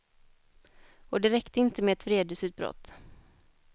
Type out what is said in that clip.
Och det räckte inte med ett vredesutbrott.